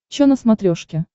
чо на смотрешке